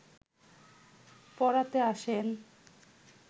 পড়াতে আসেন